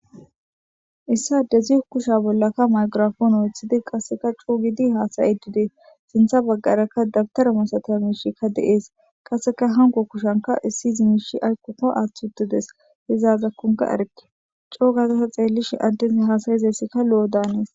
Issi adezi kushshe bolla maygirappone oyththidi qasseka coo giidi hasaiidi dessi sinththa baggaraka dabbittara massatiya mishsheykka de'essi qasseka hankko kushshanika issi mishsha aykkoka aththi uttides i aazakoka eerikke coo gaada ta xellishin addezi hasssizayssi lo'o daanesi.